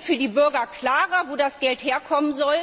Für die Bürger wird klarer, wo das Geld herkommen soll.